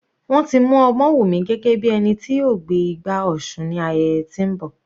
Wọ́n ti mú Omowumi gẹ́gẹ́ bí ẹni tí yóò gbé igbá òsun ní ayẹyẹ tí ń bọ.